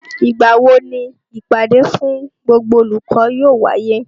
Ìgbà wo ni ìpàdé fún gbogbo olùkọ́ yóò wáyé?